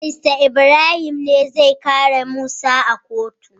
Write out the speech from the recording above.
barista ibrahim ne zai kare musa a kotu